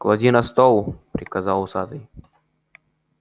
клади на стол приказал усатый